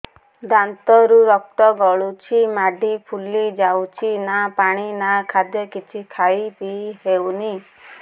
ଦାନ୍ତ ରୁ ରକ୍ତ ଗଳୁଛି ମାଢି ଫୁଲି ଯାଉଛି ନା ପାଣି ନା ଖାଦ୍ୟ କିଛି ଖାଇ ପିଇ ହେଉନି